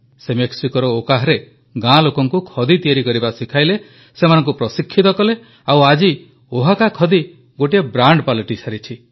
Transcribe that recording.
ସେ ମେକ୍ସିକୋର ଓହାକାରେ ଗାଁ ଲୋକଙ୍କୁ ଖଦୀ ତିଆରି କରିବା ଶିଖାଇଲେ ସେମାନଙ୍କୁ ପ୍ରଶିକ୍ଷିତ କଲେ ଆଉ ଆଜି ଓହାକା ଖଦୀ ଗୋଟିଏ ବ୍ରାଣ୍ଡ ପାଲଟିସାରିଛି